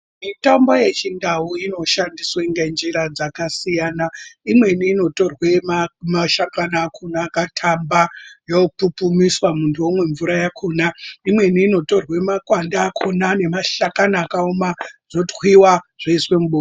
Mitombo yechindau inoshandiswa ngenjira dzakasiyana imweni inotorwe mashakani akona akatamba yopupumiswa muntu omwe mvura yakona imweni inotorwe makwande akona nemashakani akaoma zvotwiwa zvoiswe mubota.